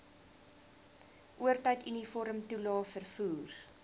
oortyd uniformtoelae vervoer